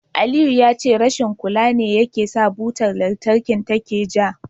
Aliyu ya ce rashin kula ne yasa butar lantarkin take ja.